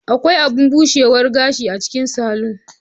Akwai abun bushewar gashi a cikin salon.